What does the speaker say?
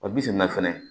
Wa bisina fɛnɛ